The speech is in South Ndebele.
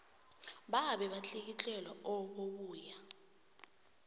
babe batlikitlelwa obubuya